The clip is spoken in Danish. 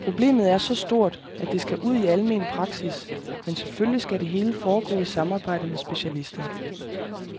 Problemet er så stort, at det skal ud i almen praksis, men selvfølgelig skal det hele foregå i samarbejde med specialister.